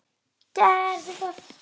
Gerðu það!